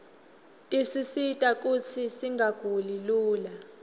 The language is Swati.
tisisita kutsi singaguli lula